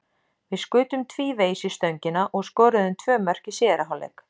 Við skutum tvívegis í stöngina og skoruðum tvö mörk í síðari hálfleik.